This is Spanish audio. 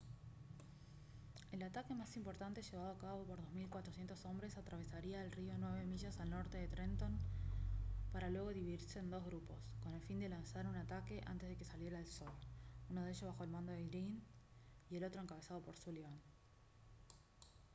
el ataque más importante llevado a cabo por 2400 hombres atravesaría el río nueve millas al norte de trenton para luego dividirse en dos grupos con el fin de lanzar un ataque antes de que saliera el sol uno de ellos bajo el mando de greene y el otro encabezado por sullivan